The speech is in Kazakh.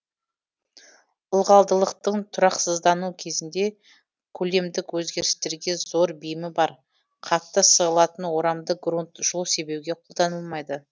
ылғалдылықтың тұрақсыздану кезінде көлемдік өзгерістерге зор бейімі бар қатты сығылатын орамды грунт жол себуге қолданылмайды